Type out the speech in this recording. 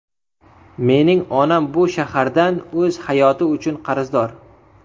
Mening onam bu shahardan o‘z hayoti uchun qarzdor.